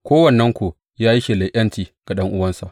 Kowannenku ya yi shelar ’yanci ga ɗan’uwansa.